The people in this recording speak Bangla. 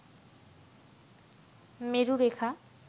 মেরু রেখা